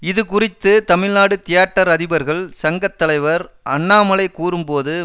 இது குறித்து தமிழ்நாடு தியேட்டர் அதிபர்கள் சங்க தலைவர் அண்ணாமலை கூறும்போது